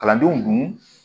Kalandenw dun